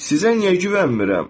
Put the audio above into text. Sizə niyə güvənmirəm?